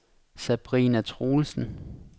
Sabrina Troelsen